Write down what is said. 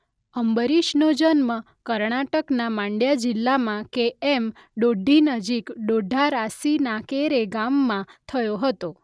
અંબરીશનો જન્મ કર્ણાટકના માંડ્યા જિલ્લામાં કે એમ ડોડ્ડી નજીક ડોડ્ડારાસિનાકેરે ગામમાં થયો હતો.